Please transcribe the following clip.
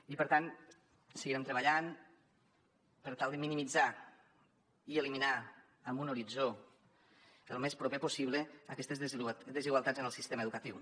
i per tant seguirem treballant per tal de minimitzar i eliminar en un horitzó el més proper possible aquestes desigualtats en el sistema educatiu